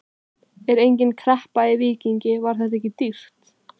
Er engin kreppa í Víkingi, var þetta ekki dýrt?